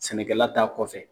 Sɛnɛkɛla t'a kɔfɛ